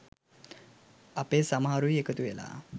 අපේ සමහරුයි එකතුවෙලා